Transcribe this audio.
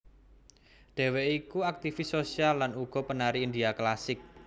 Dheweké iku aktifis sosial lan uga penari India klasik